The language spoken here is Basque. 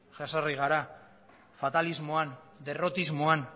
jezarri gara fatalismoan derrotismoan